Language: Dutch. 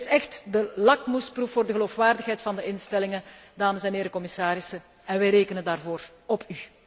Dit is echt de lakmoesproef voor de geloofwaardigheid van de instellingen, dames en heren, commissarissen, en wij rekenen daarvoor op u.